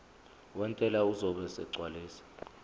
wentela uzobe esegcwalisa